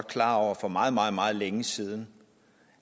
klar over for meget meget meget længe siden